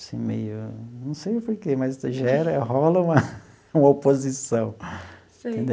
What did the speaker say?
Assim, meio, não sei por quê, mas gera, rola uma uma oposição. Sei.